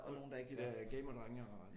Er det gamerdrenge eller hvad?